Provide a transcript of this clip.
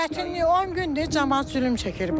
Çətinlik 10 gündür camaat zülüm çəkir burda.